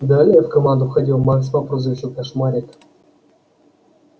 далее в команду входил макс по прозвищу кошмарик